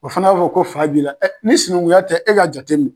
O fana b'a fɔ ko fa b'i la. Ni sinankunya tɛ , ɛ eka jatemin